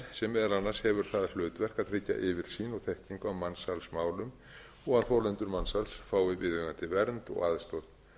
sem meðal annars hefur það hlutverk að tryggja yfirsýn og þekkingu á mansalsmálum og að þolendur mansals fái viðeigandi vernd og aðstoð